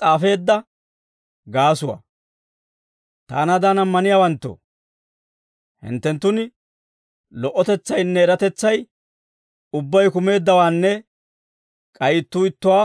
Taanaadan ammaniyaawanttoo, hinttenttun lo"otetsaynne eratetsay ubbay kumeeddawaanne k'ay ittuu ittuwaa